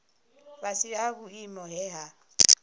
fhasi ha vhuimo he ha